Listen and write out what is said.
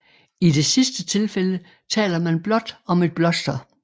I det sidste tilfælde taler man blot om et bloster